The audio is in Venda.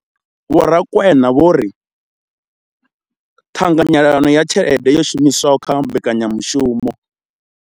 Vho Rakwena vho ri ṱhanganyelano ya tshelede yo shumiswaho kha mbekanyamushumo.